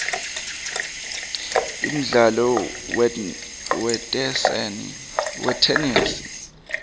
umdlalo wetenesi